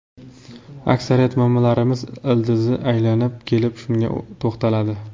Aksariyat muammolarimiz ildizi aylanib kelib shunga to‘xtaladi.